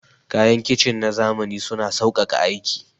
Kayan kicin na zamani suna sauƙaƙa aiki.